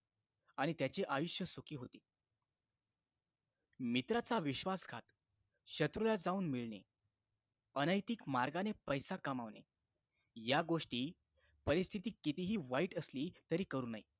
आणि त्याचे आयुष्य सुखी होते मित्राच्या विश्वासघात शत्रूला जाऊन मिळणे अनैतिक मार्गाने पैसा कमावणे या गोष्टी परिस्थिती किती वाईट असली तरी करू नये